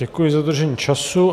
Děkuji za dodržení času.